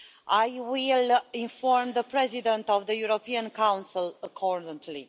I will inform the President of the European Council accordingly.